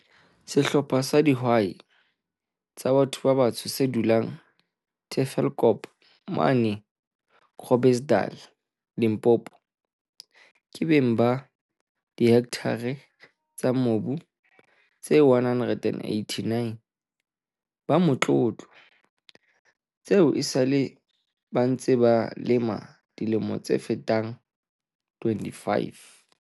Sehlopha sa di hwai tsa batho ba batsho se dulang Tafelkop, mane Gro blersdal, Limpopo, ke beng ba dihektare tsa mobu tse 189 ba motlo tlo, tseo esale ba ntse ba di lema ka dilemo tse fetang 25.